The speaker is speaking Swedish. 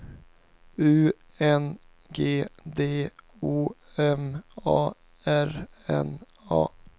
U N G D O M A R N A